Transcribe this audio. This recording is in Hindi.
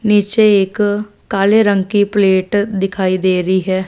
नीचे एक काले रंग की प्लेट दिखाई दे रही हैं।